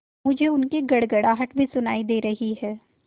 मुझे उनकी गड़गड़ाहट भी सुनाई दे रही है